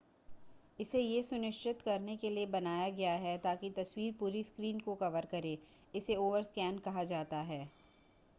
इसे यह सुनिश्चित करने के लिए बनाया गया है ताकि तस्वीर पूरी स्क्रीन को कवर करे इसे ओवरस्कैन कहा जाता है